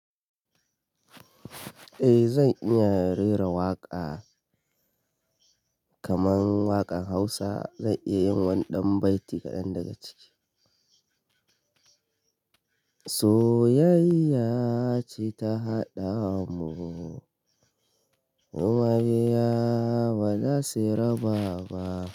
Eh zan iya rera waƙa, kaman waƙan Hausa. Zan iya yin wani ɗan baiti kaɗan daga ciki. Soyayya ce ta haɗa mu, mu mabiya ba za su raba ba.